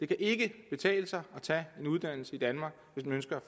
det ikke kan betale sig at tage en uddannelse i danmark hvis man ønsker